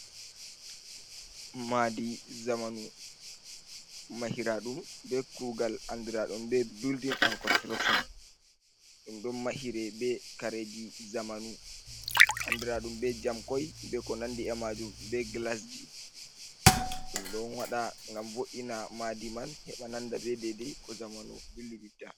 Madi zamanu mahiraɗum ɓe kugal andiraɗum ɓe building and construction, ɗum ɗon mahire ɓe kareji zamanu andirad&um be jamkoi be ko nandi e majum, ɓe glasji ɗum ɗon waɗa ngam vo’ina madi man heɓa nanda ɓe dedei ko zamanu dilliditta.